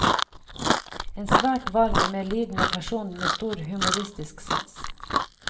En svært varm, medlidende person med stor humoristisk sans.